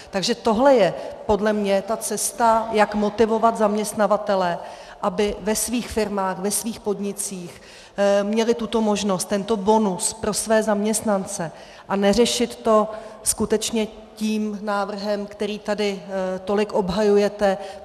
Takže tohle je podle mě ta cesta, jak motivovat zaměstnavatele, aby ve svých firmách, ve svých podnicích měli tuto možnost, tento bonus pro své zaměstnance, a neřešit to skutečně tím návrhem, který tady tolik obhajujete.